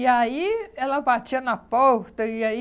E aí ela batia na porta e aí